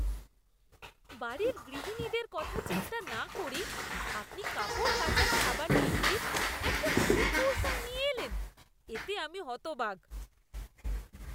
বাড়ির গৃহিণীদের কথা চিন্তা না করেই আপনি কাপড় কাচার সাবান বিক্রির একটা নতুন কৌশল নিয়ে এলেন, এতে আমি হতবাক!